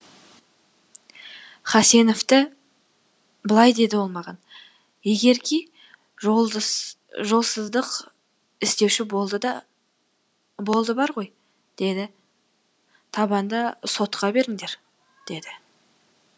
хасеновті былай деді ол маған егерки жолсыздық істеуші болды бар ғой деді табанда сотқа беріңдер деді